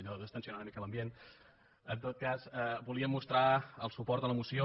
allò de distendre una mica l’ambient en tot cas volia mostrar el suport a la moció